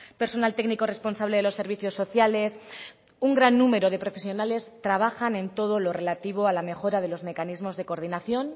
personal técnico responsable de los servicios sociales un gran número de profesionales trabajan en todo lo relativo a la mejora de los mecanismos de coordinación